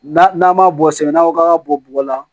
N'a n'a ma bɔ sɛbɛn n'a ko k'an ka bɔ bɔgɔ la